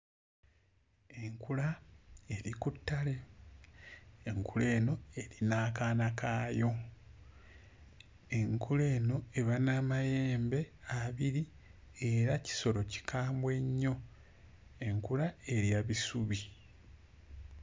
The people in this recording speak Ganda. Enkula eri ku ttale. Enkula eno eri n'akaana kaayo. Enkula eno eba n'amayembe abiri era kisolo kikambwe nnyo. Enkula erya bisubi.